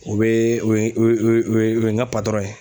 O bɛ o ye o ye o ye o ye n ka ye.